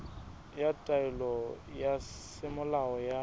ya taelo ya semolao ya